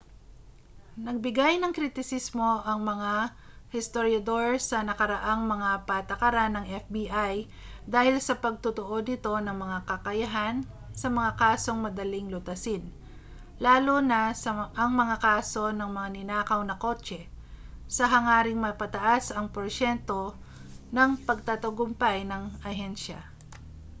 nagbigay ng kritisismo ang mga historyador sa nakaraang mga patakaran ng fbi dahil sa pagtutuon nito ng mga kakayahan sa mga kasong madaling lutasin lalo na ang mga kaso ng mga ninakaw na kotse sa hangaring mapataas ang porsyento ng pagtatagumpay ng ahensya